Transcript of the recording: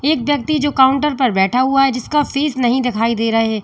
एक व्यक्ति जो काउंटर पर बैठा हुआ है जिसका फेस नहीं दिखाई दे रहा है।